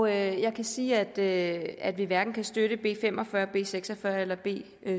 jeg kan sige at at vi hverken kan støtte b fem og fyrre b seks og fyrre eller b